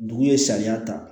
Dugu ye sariya ta